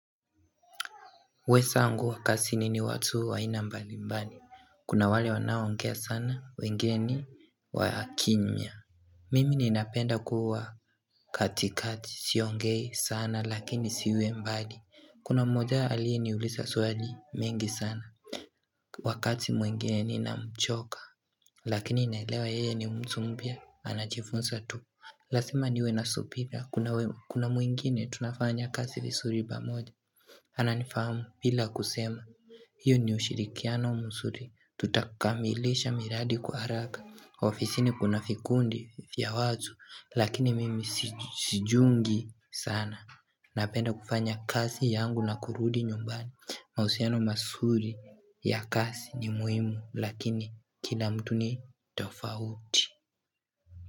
Wezangu kazini ni watu wa aina mbali mbali. Kuna wale wanaongea sana wengeni wakimya Mimi ninapenda kuwa katikati, siongei sana lakini siwi mbali. Kuna mmoja alieniuliza swali mingi sana Wakati mwingine ninamchoka lakini inaelewa yeye ni mtu mpya anajifunza tu. Lazima niwe na subira kuna mwingine tunafanya kazi vizuri pamoja Ananifahamu bila kusema, hiyo ni ushirikiano mzuri, tutakamilisha miradi kwa haraka ofisi ni kuna vikundi vya watu, lakini mimi sijiungi sana Napenda kufanya kazi yangu na kurudi nyumbani. Mahusiano masuri ya kazi ni muhimu, lakini kila mtu ni tofauti.